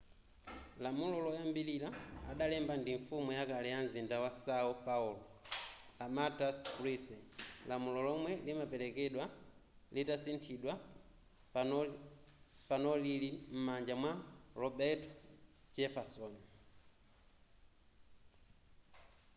lamulo loyambilira adalemba ndi mfumu yakale ya mzinda wa são paulo a marta suplicy. lamulo lomwe limaperekedwali litasinthidwa panopa lili m'manja mwa roberto jefferson